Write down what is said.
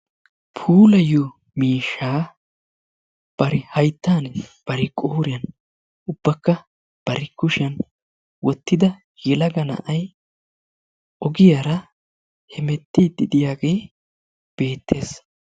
Puulayiyoo miishshaa bari hayttaan, bari qooriyan, ubbakka bari kushshiyaan wottida yelaga na'ay ogiyara hemettidi diyagee beettees.